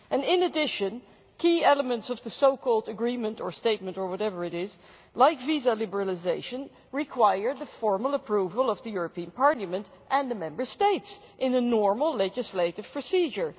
In addition, key elements of the so called agreement' or statement' or whatever it is, like visa liberalisation, require the formal approval of the European Parliament and the Member States in a normal legislative procedure.